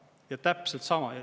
Ja täpselt sama.